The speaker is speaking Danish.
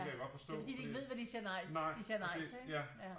Det er fordi de ikke ved hvad de siger nej de siger nej til ikke